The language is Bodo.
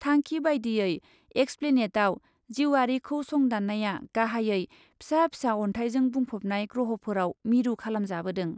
थांखि बायदियै एक्सप्लेनेटआव जिउयारिखौ संदान्नाया गाहायै फिसा फिसा अन्थाइजों बुंफबनाय ग्रहफोराव मिरु खालामजाबोदों ।